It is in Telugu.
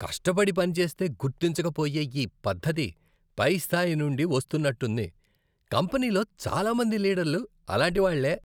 కష్టపడి పనిచేస్తే గుర్తించక పోయే ఈ పద్ధతి పై స్థాయి నుండి వస్తున్నట్టుంది, కంపెనీలో చాలా మంది లీడర్లు అలాంటివాళ్ళే.